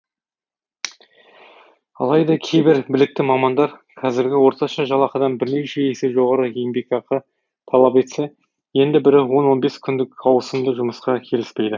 алайда кейбір білікті мамандар қазіргі орташа жалақыдан бірнеше есе жоғары еңбекақы талап етсе енді бірі он он бес күндік ауысымды жұмысқа келіспейді